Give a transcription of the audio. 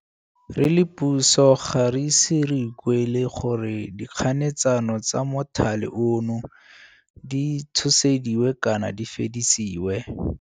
Re le puso ga re ise re ikuele gore dikganetsano tsa mothale ono di tshosediwe kana di fedisiwe.